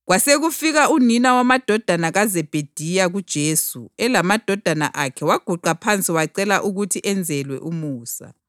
Kwasekufika unina wamadodana kaZebhediya kuJesu elamadodana akhe waguqa phansi wacela ukuthi enzelwe umusa.